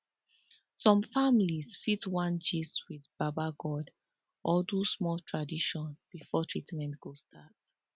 some family fit wan gist with baba god or do small tradition before treatment go start